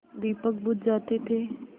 दीपक बुझ जाते थे